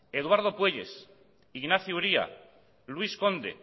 eduardo puelles ignacio uría luis conde